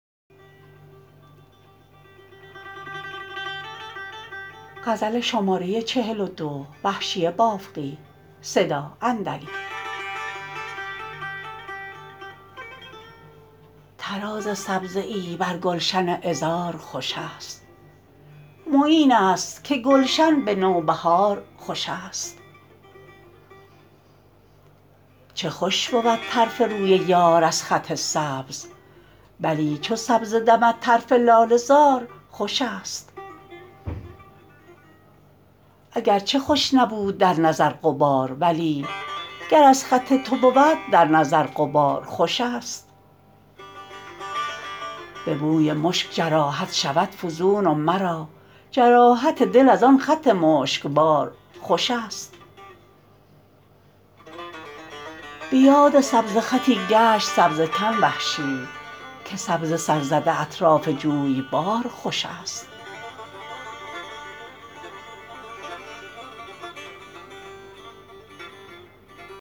طراز سبزه بر گلشن عذار خوش است معین است که گلشن به نوبهار خوش است چه خوش بود طرف روی یار از خط سبز بلی چو سبزه دمد طرف لاله زار خوش است اگر چه خوش نبود در نظر غبار ولی گر از خط تو بود در نظر غبار خوش است به بوی مشک جراحت شود فزون و مرا جراحت دل از آن خط مشکبار خوش است به یاد سبزه خطی گشت سبزه کن وحشی که سبزه سرزده اطراف جویبار خوش است